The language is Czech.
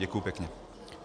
Děkuji pěkně.